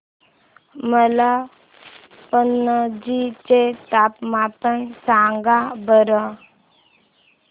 मला पणजी चे तापमान सांगा बरं